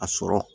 A sɔrɔ